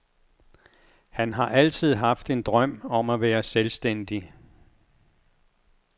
Han har altid haft en drøm om at være selvstændig.